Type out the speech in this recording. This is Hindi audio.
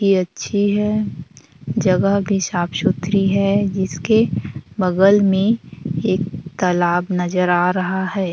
ये अच्छी है जगह भी साफ सुथरी है जिसके बगल में एक तालाब नजर आ रहा है।